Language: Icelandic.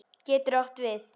Getur átt við